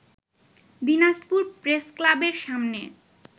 দিনাজপুর প্রেসক্লাবের সামনে